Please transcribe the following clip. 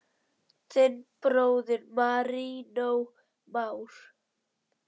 Þinn bróðir, Marinó Már.